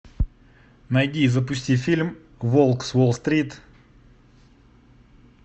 найди и запусти фильм волк с уолл стрит